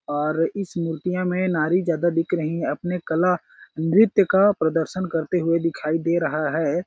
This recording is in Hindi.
और इस मूर्तिया में नारी ज्यादा दिख रही है आपने कला नृत्य का प्रदर्शन करते हुए दिखाई दे रहा है।